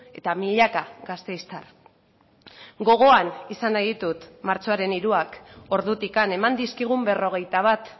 eta milaka gasteiztar gogoan izan nahi ditut martxoaren hiruak ordutik eman dizkigun berrogeita bat